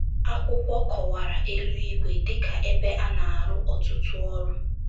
Akwụkwọ kọwara eluigwe dị ka ebe a na - arụ ọtụtụ ọrụ.